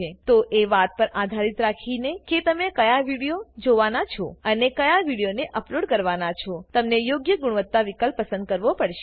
તો એ વાત પર આધાર રાખીને કે તમે ક્યાં વિડીઓ જોવાના છો અને ક્યાં વીડીઓને અપલોડ કરવાના છોતમને યોગ્ય ગુણવત્તા વિકલ્પ પસંદ કરવો પડશે